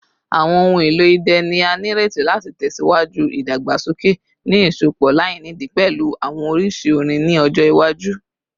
Awọn ohun elo idẹ ni a nireti lati tẹsiwaju idagbasoke, ni iṣọpọ lainidi pẹlu awọn oriṣi orin ni ọjọ iwaju.